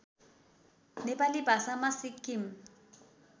नेपाली भाषामा सिक्किम